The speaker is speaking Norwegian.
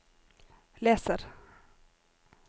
leser